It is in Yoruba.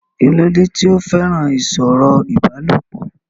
kí ló dé tí ó fẹ́ràn ìsọ̀rọ̀ ìbálòpọ̀?